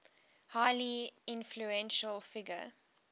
highly influential figure